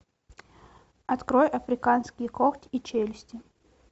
открой африканские когти и челюсти